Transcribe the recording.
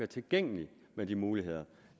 tilgængeligt med de muligheder